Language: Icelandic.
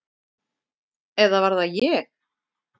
Eða var það ég?